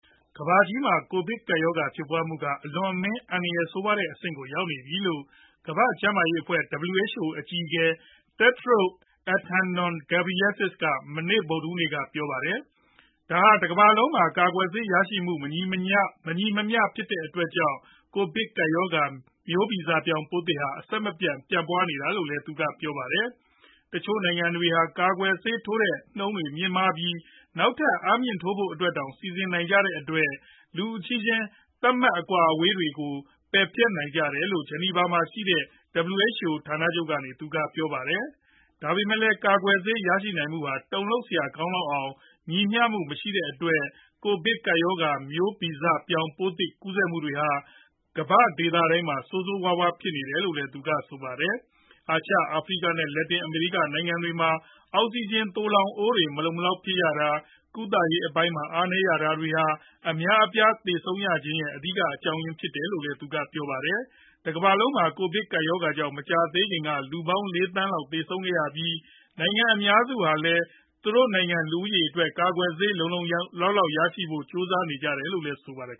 ကမ္ဘာကြီးမှာ ကိုဗစ်ကပ်ရောဂါ ဖြစ်ပွားမှုက အလွန်အမင်း အန္တရာယ်ဆိုးရွားတဲ့ အဆင့်ကို ရောက်နေပြီလို့ ကမ္ဘာ့ကျန်းမာရေးအဖွဲ့ WHO အကြီးအကဲ Tedros Adhanom Ghebreyesus က မနေ့ ဗုဒ္ဓဟူးနေ့ က ပြောပါတယ်။ ဒါဟာ တကမ္ဘာလုံးမှာ ကာကွယ်ဆေးရရှိမှုမှာ မညီမမျှဖြစ်တဲ့အတွက်ကြောင့် ကိုဗစ်ကပ်ရောဂါ မျိုးဗီဇပြောင်း ပိုးသစ်ဟာ အဆက်မပြတ်ပြန့်ပွားနေတာဖြစ်တယ်လို့ သူကပြောပါတယ်။ တချို့နိုင်ငံတွေဟာ ကာကွယ်ဆေး ထိုးတဲ့နှုန်းတွေမြင့်မားပြီး နောက်ထပ် အားမြှင့်ထိုးဖို့အတွက်တောင် စီစဉ်နိုင်ကြတဲ့အတွက် လူအချင်းချင်း သတ်မှတ် အကွာအဝေးထားတာတွေတောင် ပယ်ဖျက်ပေးနေကြတယ်လို့ ဂျီနီဗာ မှာရှိတဲ့ WHO ဌာနချုပ်ကနေ သူကပြောပါတယ်။ ဒါပေမယ့်လည်း ကာကွယ်ဆေး ရရှိနိုင်မှုဟာ တုံလှုပ်စရာကောင်းလောက်အောင် ညီမျှမှုမရှိတဲ့အတွက် ကိုဗစ်ကပ်ရောဂါ မျိုးဗီဇပြောင်းပိုးသစ်တွေ ကူးစက်မှု့တွေဟာ ကမ္ဘာ့ဒေသတိုင်းမှာ ဆိုးဆိုးရွားရွားဖြစ်ပွားလာတယ်လို့ သူကဆိုပါတယ်။ အာရှ၊ အာဖရိက နဲ့ လက်တင် အမေရိက နိုင်ငံတွေမှာ အောက်စီဂျင် သိုလှောင်အိုးတွေ မလုံမလောက်ဖြစ်ရတာ ၊ ကုသရေးအပိုင်းမှာ အားနည်းရတာတွေဟာ အများအပြားသေဆုံးရခြင်းရဲ့ အဓိက အကြောင်းအရင်းဖြစ်တယ်လို့လည်း သူကပြောပါတယ်။ တကမ္ဘာလုံးမှာ ကိုဗစ်ကပ်ရောဂါကြောင့် မကြာသေးခင်က လူပေါင်း ၄ သန်းလောက်သေဆုံးခဲ့ရပြီး နိုင်ငံအများစုဟာလည်း သူတို့နိုင်ငံ လူဦးရေးအတွက် ကာကွယ်ဆေး လုံလုံလောက်လောက်ရဖို့ ကြိုးစားနေကြရတယ်လို့လည်း ဆိုပါတယ်